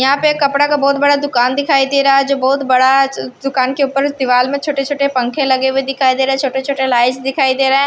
यहां पे एक कपड़ा का बहुत बड़ा दुकान दिखाई दे रहा है जो बहुत बड़ा दुकान के ऊपर दीवाल में छोटे छोटे पंखे लगे हुए दिखाई दे रहे छोटे छोटे लाइट दिखाई दे रहा है।